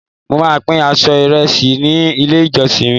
mo ma pin apo iresi ni ile ijọsin mi